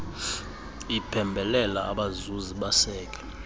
iphembelela abazuzi baseke